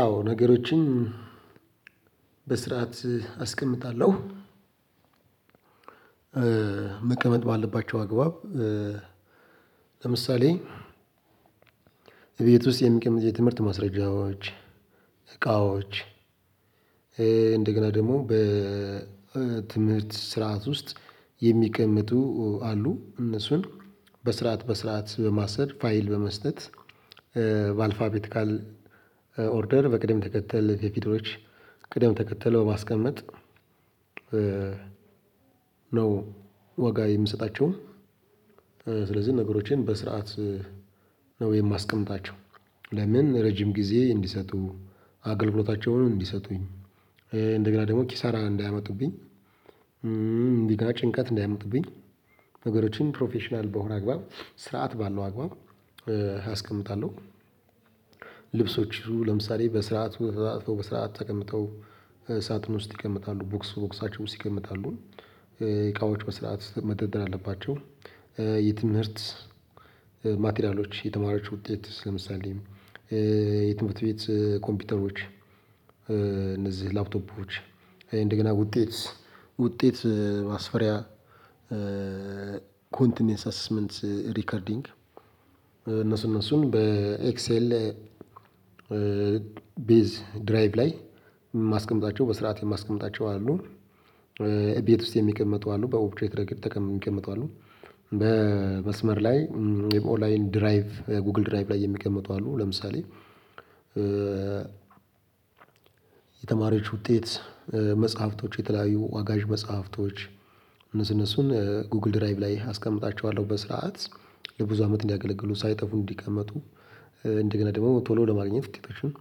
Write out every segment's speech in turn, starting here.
አዎ ነገሮችን በስርዓት አስቀምጣለሁ። መቀመጥ ባለባቸው አግባብ። ለምሳሌ ቤት ውስጥ የሚቀመጥ የትምህርት ማስረጃዎች። እቃዎች እንደገና ደግሞ በትምህርት ስርዓት ውስጥ። የሚቀመጡ አሉ እነሱን በስርዓት በስርዓት በማሰር ፋይል በመስጠት በአልፋቤት ካል ኦርደር በቅደም ተከተል የቪድዮዎች ቅደም ተከተለው ባስቀምጥ። ነው ዋጋ የምሰጣቸው ስለዚህ ነገሮችን በስርዓት ነው የማስቀምጣቸው። ለምን ረጅም ጊዜ እንዲሰጡ አገልግሎታቸውን እንዲሰጡኝ እንደገና ደግሞ ኪሳራ እንዳያመጡብኝ እንደገና ጭንቀት እንዳያመጡብኝ። ነገሮችን ፕሮፌሽናል በሆነ አግባብ ስርዓት ባለው አግባብ አስቀምጣለሁ። ልብሶች ለምሳሌ በስርዓት አጥፎ በስርዓት ተቀምጠው ሳጥን ውስጥ ይቀመጣሉ ቦክስ ቦክሳቸው ውስጥ ሲቀመጣሉ እቃዎች በስርዓት መደርደር አለባቸው። የትምህርት ማቴሪያሎች የተማሪዎች ውጤት ለምሳሌ የትምህርት ቤት ኮምፒውተሮች እነዚህ ላፕቶፖች እንደገና ውጤት ውጤት ማስፈሪያ ኮንቲኒየንስ አስስመንት ሪከርዲንግ እነሱን እነሱን በኤክሴል ቢዝ ድራይቭ ላይ የማስቀምጣቸው በስርዓት የማስቀምጣቸው አሉ። እቤት ውስጥ የሚቀመጡ አሉ በኦብትሬት ረገድ ሚቀመጡ አሉ። መስመር ላይ የኦላይን ድራይቭ የጎግል ድራይቭ ላይ የሚቀመጡ አሉ። ለምሳሌ የተማሪዎች ውጤት መጽሐፍቶች የተለያዩ ዋጋዥ መጽሐፍቶች እነሱን እነሱን ጉግል ድራይቭ ላይ አስቀምጣቸዋለሁ በስርዓት ለብዙ አመት እንዲያገለግሉ ሳይጠፉ እንዲቀመጡ። እንደገና ደግሞ ቶሎ ለማግኘት ድብረሽን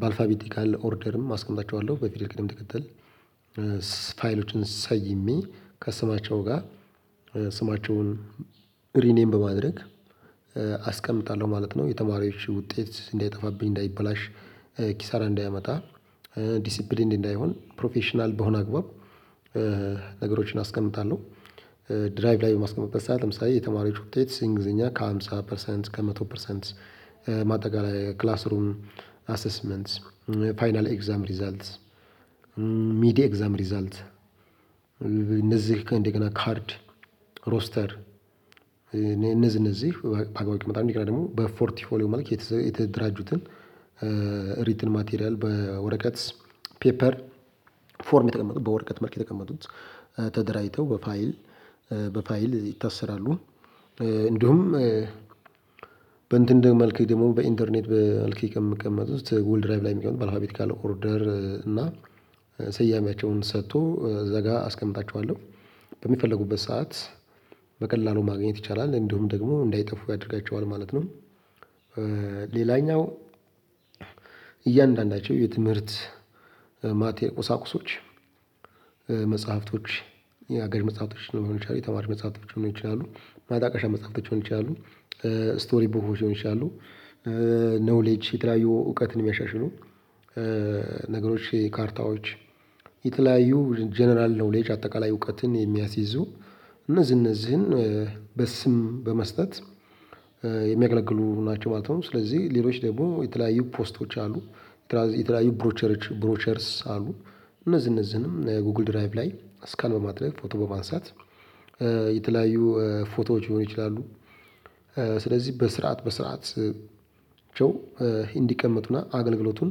በአልፋቢቲካል ኦርደርም አስቀምጣቸዋለሁ በፊል ቅድም ተከተል ሰይሜ ከስማቸው ጋር ስማቸውን ሪኔም በማድረግ አስቀምጣለሁ ማለት ነው። የተማሪዎች ውጤት እንዳይጠፋብኝ እንዳይበላሽ ኪሳራ እንዳያመጣ ዲሲፕሊንድ እንዳይሆን ፕሮፌሽናል በሆነ አግባብ ነገሮችን አስቀምጣለሁ። ድራይቭ ላይ ማስቀመጥበት ሰዓት ለምሳሌ የተማሪዎቹ ውጤት እንግሊዘኛ ከሃምሳ ፐርሰንት ከመቶ ፐርሰንት ማጠቃለያ ክላስ ሩም አሰስመንት ፋይናል ኤግዛም ሪዛልት ሚዲያ ኤግዛም ሪዛልት እነዚህ ከንደገና ካርድ ሮስተር እነዚህ እነዚህ ባግባብ ደግሞ በፎርቲ ሆሊው መልክ የተደራጁትን እንትን ማቴሪያል በወረቀት ፔፐር ፎርም የተቀመጡ በወረቀት መልክ የተቀመጡት ተደራጅተው በፋይል በፋይል ይታሰራሉ። እንዲሁም በእንትን ደግሞ መልኬ ደግሞ በኢንተርኔት በልክ የምቀመጥ ውስጥ ጎል ድራይቭ ላይ የሚቀመጥ ባለሀቢት ካለ ኦርደር እና ሰያሜቸውን ሰጥቶ እዚያጋ አስቀምጣቸዋለሁ በሚፈለጉበት ሰዓት በቀላሉ ማግኘት ይቻላል እንዲሁም ደግሞ እንዳይጠፉ ያደርጋቸዋል ማለት ነው። ሌላኛው እያንዳንዳቸው የትምህርት ማቴ ቁሳቁሶች መጽሐፍቶች የአጋዥ መጽሐፍቶች ሊሆኑ ይችላሉ የተማሪ መጽሐፍቶች ሊሆኑ ይችላሉ ማጣቀሻ መጽሐፍቶች ሊሆኑ ይችላሉ። ስቶሪ ቡኮች ሊሆኑ ይችላሉ ነውሌጅ የተለያዩ እውቀትን እሚያሻሽሉ ነገሮች ካርታዎች የተለያዩ ጀነራል ነውሌጅ አጠቃላይ እውቀትን የሚያስይዙ እነዚህ እነዚህን በስም በመስጠት የሚያገለግሉ ናቸው ማለት ነው። ስለዚህ ሌሎች ደግሞ የተለያዩ ፖስቶች አሉ። የተለያዩ ብሮቸሮች ብሮቸርስ አሉ። እነዚህ እነዚህንም ጎግል ድራይቭ ላይ አስካን በማድረግ ፎቶ በማንሳት የተለያዩ ፎቶዎች ሊሆኑ ይችላሉ። ስለዚህ በስርዓት በስርዓት ቸው እንዲቀመጡና አገልግሎቱን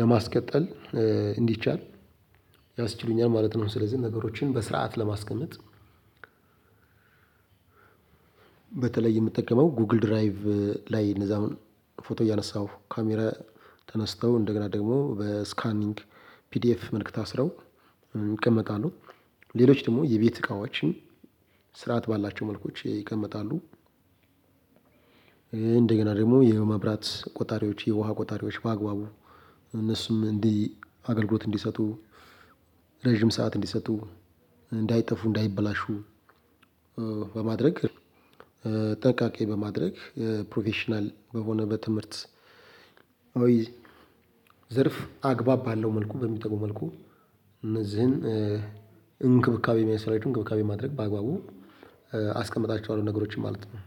ለማስቀጠል እንዲቻል ያስችሉኛል ማለት ነው። ስለዚህ ነገሮችን በስርዓት ለማስቀመጥ በተለይ የምጠቀመው ጎግል ድራይቭ ላይ እነዛውን ፎቶ እያነሳሁ ካሜራ ተነስተው እንደገና ደግሞ በስካኒግ ፒዲኤፍ መልክ ታስረው ይቀመጣሉ። ሌሎች ደሞ የቤት እቃዎችን ስርዓት ባላቸው መልኮች ይቀመጣሉ። እንደገና ደሞ የመብራት ቆጣሪዎች የውሃ ቆጣሪዎች በአግባቡ እነሱም እንዲህ አገልግሎት እንዲሰጡ ረዠም ሰዓት እንዲሰጡ እንዳይጠፉ እንዳይበላሹ። በማድረግ ጥንቃቄ በማድረግ ፕሮፌሽናል በሆነ በትምህርት አዊይ ዘርፍ አግባብ ባአለው መልኩ በሚጠቅም መልኩ እነዚህን እንክብካቤ የሚያስፈልጋቸውን እንክብካቤ ማድረግ በአግባቡ አስቀምጣቸዋለሁ። ነገሮችን ማለት ነው።